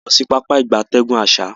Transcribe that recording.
A n lo sibi Pápá ìgbatẹ́gùn asa.